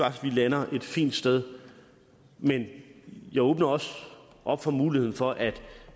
at vi lander et fint sted men jeg åbner også op for muligheden for at